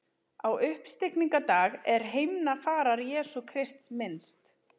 Á uppstigningardag er himnafarar Jesú Krists minnst.